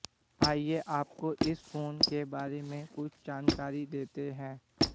आइए आपको इस फोन के बारे में कुछ जानकारी देते हैं